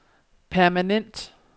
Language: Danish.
permanent